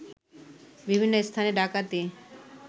বিভিন্ন স্থানে ডাকাতি